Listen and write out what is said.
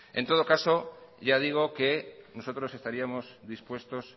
en todo caso ya digo que nosotros estaríamos dispuestos